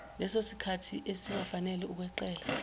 lesosikhathi esingafanele ukweqela